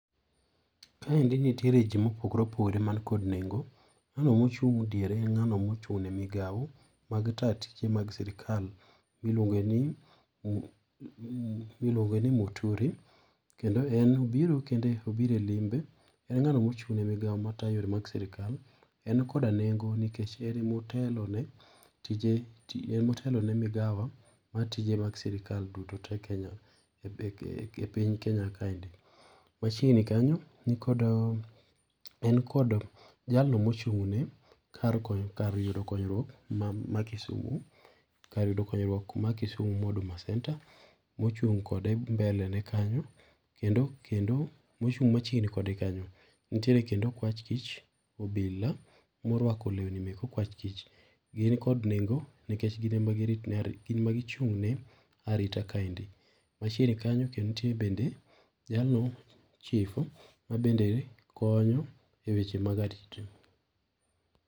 Kaendi nitiere ji ma opogore opogore man kod nengo, ngano ma ochung diere en ng'ano mochung ne migao mag ta tije mag sirikal iluonge ni Muturi kendo en obiro kende obiro e limbe, en ng'ano mochung' ne migao matayo yore mag sirikal .En koda nengo nikech en ema otelone tije otelo ne migawa mar tije mag sirikal duto kenya epiny kenya ka endi. Machiegni kanyo en kod jalo mochung ne kar yudo konyruok ma kisumu kar yudo konyruok ma Kisumu ma Huduma centre.] Mochung' kode mbele ne kanyo kendo kendo mochung machiegni kode kanyo nitiere okwach kich obila moruako lewni mek okwach kich ,gin kod nengo nikech gin ema gichung ne arita kaendi .Machiegni kanyo bende nitie jalno chief mabende konyo e weche mag arita.